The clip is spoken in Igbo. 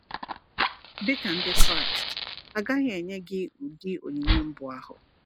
Dịka Ndị Kraịst, a gaghị enye gị ụdị onyinye mbụ ahụ.